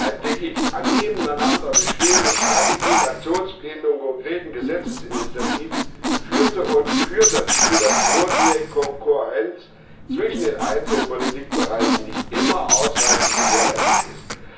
Ein Dickicht an nebeneinander bestehenden Strategien, Aktionsplänen und konkreten Gesetzesinitiativen führte und führt dazu, dass die notwendige Kohärenz zwischen den einzelnen Politikbereichen nicht immer ausreichend gewährleistet ist.